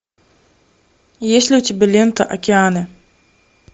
есть ли у тебя лента океаны